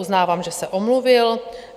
Uznávám, že se omluvil.